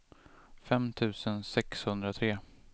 fem tusen sexhundratre